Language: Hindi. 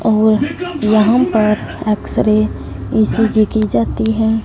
और वहां पर एक्स रे ई_सी_जी की जाती है।